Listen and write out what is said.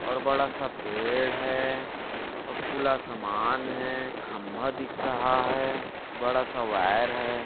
और बडासा पेड़ है और खुला सामान है खंबा दिख रहा है बड़ा सा वायर है।